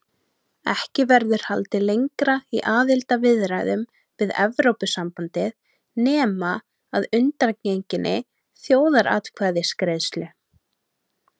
Ekki verður haldið lengra í aðildarviðræðum við Evrópusambandið nema að undangenginni þjóðaratkvæðagreiðslu.